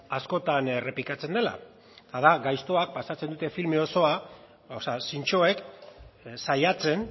askotan errepikatzen dela eta da gaiztoak pasatzen dute filme osoa o sea zintzoek saiatzen